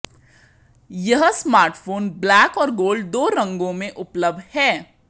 यह smartphone black और gold दो रंगों में उपलब्ध है